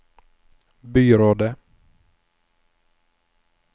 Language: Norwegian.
byrådet